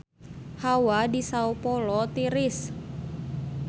Hawa di Sao Paolo tiris